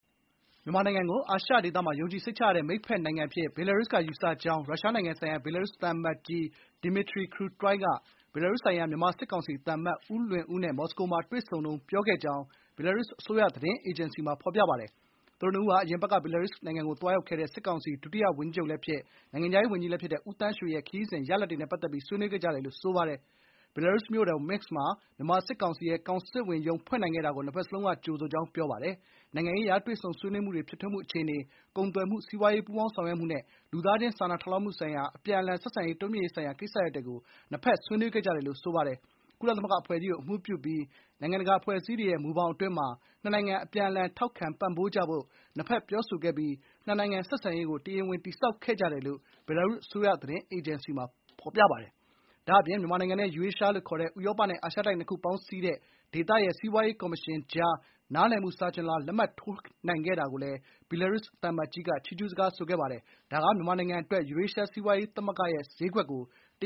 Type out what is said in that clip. မြန်မာနိုင်ငံကို အာရှဒေသမှာ ယုံကြည်စိတ်ချရတဲ့မိတ်ဖက်နိုင်ငံအဖြစ် ဘီလာရုစ်က ယူဆကြောင်း ရုရှားနိုင်ငံဆိုင်ရာ ဘီလာရုစ်သံအမတ်ကြီး ဒီမီထရီ ကရူတွိုင် (Dmitry Krutoi) က ဘီလာရုစ်ဆိုင်ရာ မြန်မာ စစ်ကောင်စီသံအမတ်ဦးလွင်ဦးနဲ့ မော်စကိုမှာတွေ့ဆုံတုန်း ပြောခဲ့ကြောင်း ဘီလာရုစ်အစိုးရသတင်းအေဂျင်စီမှာ ဖော်ပြပါတယ်။ ဒီမီထရီ ကရူတွိုင်နဲ့ဦးလွင်ဦးတို့ဟာ အရင်အပတ်က ဘီလာရုစ်နိုင်ငံကို သွားရောက်ခဲ့တဲ့ စစ်ကောင်စီ ဒုတိယ၀န်ကြီးချုပ်လည်းဖြစ်၊ နိုင်ငံခြားရေးဝန်ကြီးလည်း ဖြစ်တဲ့ ဦးသန်းရွှေရဲ့ ခရီးစဉ်ရလဒ်တွေနဲ့ပတ်သက်ပြီး ဆွေးနွေးခဲ့ကြတယ်လို့ ဆိုပါတယ်။ ဘီလာရုစ်မြို့တော် မင့်စ် (Minsk) မှာ မြန်မာစစ်ကောင်စီရဲ့ ကောင်စစ်ဝန်ရုံးဖွင့်နိုင်ခဲ့တာကို နှစ်ဘက်လုံးက ကြိုဆိုကြောင်း ပြောပါတယ်။ နိုင်ငံရေးအရ တွေ့ဆုံဆွေးနွေးမှုတွေ ဖြစ်ထွန်းမှုအခြေအနေ၊ ကုန်သွယ်မှု၊ စီးပွားရေး ပူးပေါင်းဆောင်ရွက်မှုနဲ့ လူသားချင်း စာနာထောက်ထားမှုဆိုင်ရာ အပြန်အလှန် ဆက်ဆံရေးတိုးမြှင့်ရေးဆိုင်ရာ ကိစ္စရပ်တွေကို ဆွေးနွေးခဲ့ကြတယ်လို့ ဆိုပါတယ်။ ကုလသမဂ္ဂအဖွဲ့ကြီးကိုအမှူးပြုပြီး နိုင်ငံတကာအဖွဲ့အစည်းတွေရဲ့ မူဘောင်တွေအတွင်းမှာ နှစ်နိုင်ငံ အပြန်အလှန် ထောက်ခံပံ့ပိုးကြဖို့ နှစ်ဖက်ပြောဆိုခဲ့ပြီး နှစ်နိုင်ငံဆက်ဆံရေးကို တရားဝင် တည်ဆောက်ခဲ့ကြတယ်လို့ ဘီလာရုစ်အစိုးရ သတင်းအေဂျင်စီမှာ ဖော်ပြပါတယ်။ ဒါ့အပြင် မြန်မာနိုင်ငံနဲ့ ယူရေးရှားလို့ ခေါ်တဲ့ဥရောပနဲ့ အာရှတိုက်နှစ်ခုပေါင်းစည်းတဲ့ ဒေသရဲ့ စီးပွားရေးကော်မရှင်ကြား နားလည်မှုစာချွန်လွှာ လက်မှတ်ရေးထိုးနိုင်ခဲ့တာကိုလည်း ဘီလာရုစ်သံအမတ်ကြီးက ချီးကျူးခဲ့တယ်ဆိုပါတယ်။ ဒါက မြန်မာနိုင်ငံအတွက် ယူရေးရှား စီးပွားရေးသမဂ္ဂရဲ့ဈေးကွက်ကို တ